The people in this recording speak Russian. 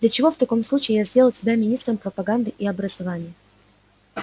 для чего в таком случае я сделал тебя министром пропаганды и образования